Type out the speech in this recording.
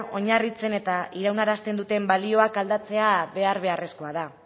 oinarritzen eta iraunarazten duten balioak aldatzea behar beharrezkoa da